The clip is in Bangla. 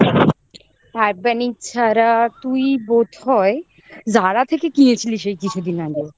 urbanic ছাড়া তুই বোধহয় Zara থেকে কিনেছিলি সেই কিছুদিন আগে